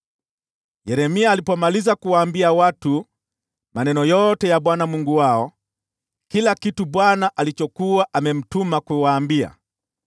Yeremia alipomaliza kuwaambia watu maneno yote ya Bwana Mungu wao, yaani kila kitu Bwana alichokuwa amemtuma kuwaambia,